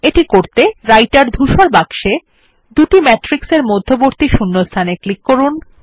এটি করতে রাইটের ধূসর বাক্সে দুটি ম্যাট্রিক্সের মধ্যবর্তী শূন্যস্থানে ক্লিক করুন